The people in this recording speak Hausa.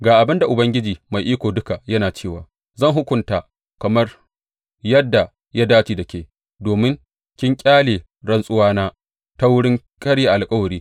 Ga abin da Ubangiji Mai Iko Duka yana cewa zan hukunta kamar yadda ya dace da ke, domin kin ƙyale rantsuwana ta wurin karya alkawari.